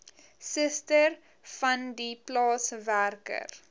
suster vandie plaaswerker